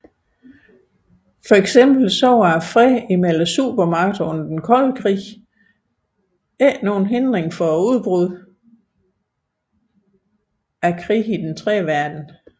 Eksempelvis var freden mellem supermagterne under den kolde krig ikke nogen hindring for udbruddet af krige i Den tredje Verden